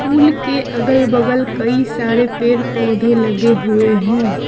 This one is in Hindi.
पुल के अगल बगल कई सारे पेड़ पौधे लगे हुए है।